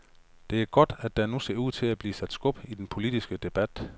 Det er godt, at der nu ser ud til at blive sat skub i den politiske debat.